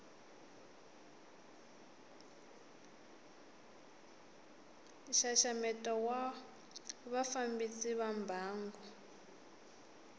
nxaxameto wa vafambisi va mbangu